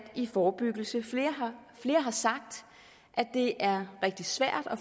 i forebyggelsen flere har sagt at det er rigtig svært at